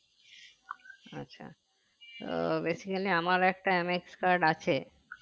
আছে তো basically আমার একটা MX card আছে